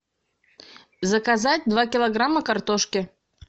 заказать два килограмма картошки